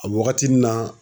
A wagatinin na